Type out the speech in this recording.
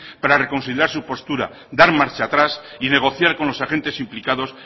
para reconsiderar su postura dar marcha atrás y negociar con los agentes implicados